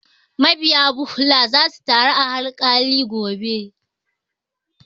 Ma biya Bhudha za su taru a haikali gobe